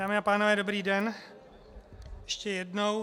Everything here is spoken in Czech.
Dámy a pánové, dobrý den, ještě jednou.